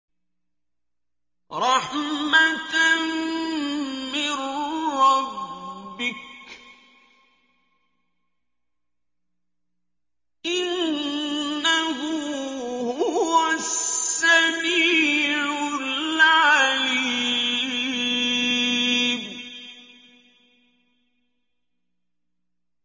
رَحْمَةً مِّن رَّبِّكَ ۚ إِنَّهُ هُوَ السَّمِيعُ الْعَلِيمُ